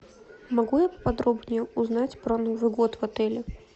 могу я поподробнее узнать про новый год в отеле